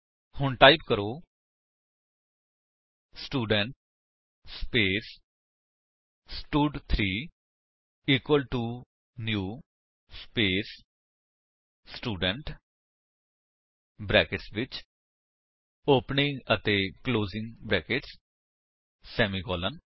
ਹੁਣ ਟਾਈਪ ਕਰੋ student space ਸਟਡ3 equal to new space student brackets ਵਿੱਚ opening and closing brackets semicolon